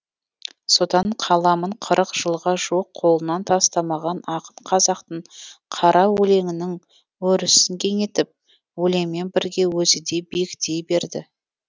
содан қаламын қырық жылға жуық қолынан тастамаған ақын қазақтың қара өлеңінің өрісін кеңейтіп өлеңмен бірге өзі де биіктей берді